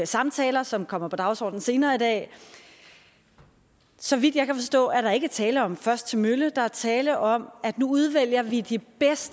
samtaler som kommer på dagsordenen senere i dag så vidt jeg kan forstå er der ikke tale om først til mølle der er tale om at nu udvælger vi de